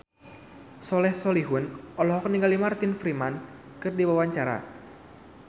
Soleh Solihun olohok ningali Martin Freeman keur diwawancara